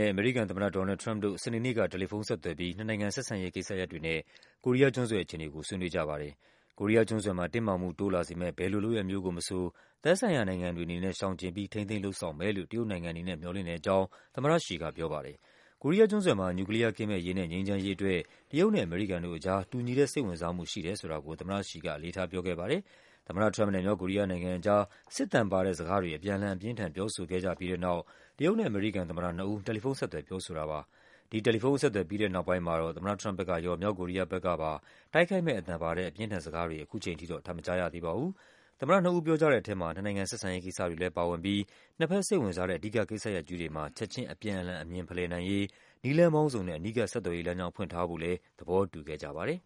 ဲ့ အမေရိကန်သမ္မတ ဒေါ်နယ်လ်ဒ် ထရမ့်ပ်တို့ စနေနေ့က တယ်လီဖုန်းဆက်သွယ်ပြီး နှစ်နိုင်ငံဆက်ဆံ ရေးကိစ္စရပ်တွေနဲ့ ကိုရီးကျွန်းဆွယ်အခြေအနေကို ဆွေးနွေးကြပါတယ်။ ကိုရီးယားကျွန်းဆွယ်မှာ တင်းမာမှုတိုးလာစေမယ့် ဘယ်လိုလုပ်ရပ်မျိုးကိုမဆို သက်ဆိုင်ရာနိုင်ငံတွေအနေနဲ့ ရှောင်ကျဉ်ပြီး ထိန်းသိမ်းလုပ်ဆောင်မယ်လို့ တရုတ်နိုင်ငံအနေနဲ့ မျှော်လင့်တဲ့အကြောင်း သမ္မတရှီကပြောပါတယ်။ ကိုရီးယားကျွန်းဆွယ်မှာ နျူကလီးယားကင်းမဲ့ရေးနဲ့ ငြိမ်းချမ်းရေးအတွက် တရုတ်နဲ့ အမေရိကန်တို့ကြား တူညီတဲ့စိတ်ဝင်စားမှု ရှိတယ်ဆိုတာကို သမ္မတရှီက အလေးထားပြောခဲ့ပါတယ်။ သမ္မတထရမ့်ပ်နဲ့ မြောက်ကိုရီးယားနိုင်ငံအကြား စစ်သံပါတဲ့စကားတွေ အပြန်အလှန် အပြင်းအထန် ပြောဆိုခဲ့ကြပြီးတဲ့နောက် တရုတ်နဲ့အမေရိကန် သမ္မတနှစ်ဦး တယ်လီဖုန်းဆက်သွယ် ပြောဆိုတာပါ။ ဒီ တယ်လီဖုန်းအဆက်အသွယ် ပြီးတဲ့နောက်ပိုင်းမှာ တော့ သမ္မတထရမ့်ပ်ဘက်ကရော၊ မြောက်ကိုရီးယားဘက်ကပါ တိုက်ခိုက်မယ့်အသံပါတဲ့ အပြင်းအထန်စကားတွေ ခုချိန်ထိ တော့ ထပ်မကြားရသေးပါဘူး။ သမ္မတနှစ်ဦးပြောကြတဲ့ထဲမှာ နှစ်နိုင်ငံဆက်ဆံရေးကိစ္စတွေလဲ ပါဝင်ပြီး နှစ်ဘက်စိတ်ဝင်စားတဲ့ အဓိကကိစ္စရပ်ကြီးတွေမှာ ချက်ခြင်း အပြန်အလှန်အမြင်ဖလှယ်နိုင်ရေး နည်းလမ်းပေါင်းစုံနဲ့ အနီးကပ်ဆက်သွယ်ရေးလမ်းကြောင်း ဖွင့်ထားဖို့လဲ သဘောတူ ခဲ့ကြပါတယ်